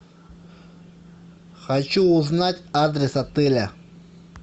хочу узнать адрес отеля